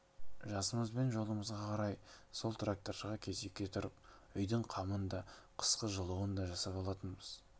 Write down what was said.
трактордың екі тіркемесінің біреуіндегі сексеуіл немесе баялыш мектепке түссе бірі сол отынға барған мұғалімнің үйіне түсетін